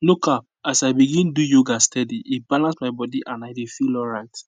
no cap as i begin do yoga steady e balance my body and i dey feel alright